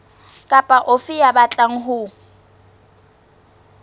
kapa ofe ya batlang ho